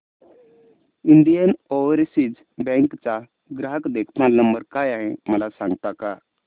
Indian Overseas Bank चा ग्राहक देखभाल नंबर काय आहे मला सांगता का